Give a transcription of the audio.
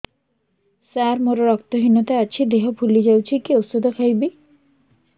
ସାର ମୋର ରକ୍ତ ହିନତା ଅଛି ଦେହ ଫୁଲି ଯାଉଛି କି ଓଷଦ ଖାଇବି